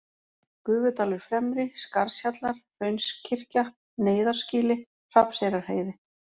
Gufudalur-Fremri, Skarðshjallar, Hraunskirkja, Neyðarskýli Hrafnseyrarheiði